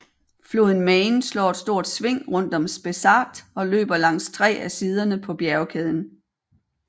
Floden Main slår et stort sving rundt om Spessart og løber langs tre af siderne på bjergkæden